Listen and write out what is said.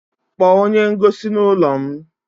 Kpọọ onye ngosi n'ụlọ m!